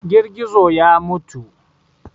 Girgizo ya mutu.